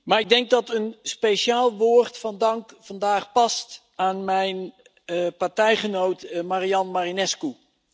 Maar ik denk dat een speciaal woord van dank vandaag past aan mijn partijgenoot Marian Marinescu.